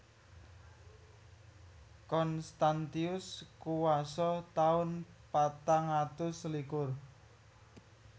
Constantius kuwasa taun patang atus selikur